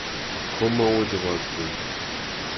Ko mau che po keny.